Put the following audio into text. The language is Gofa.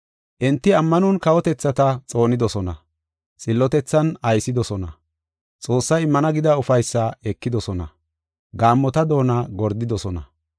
Enti ammanon kawotethata xoonidosona; xillotethan aysidosona; Xoossay immana gida ufaysaa ekidosona; gaammota doona gordidosona;